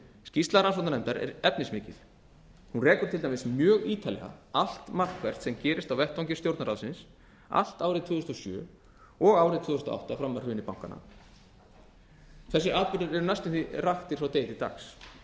skýrsla rannsóknarnefndar er efnismikil hún rekur til dæmis mjög ítarlega allt markvert sem gerist á vettvangi stjórnarráðsins allt árið tvö þúsund og sjö og árið tvö þúsund og átta fram að hruni bankanna þessir atburðir eru næstum því raktir frá degi til dags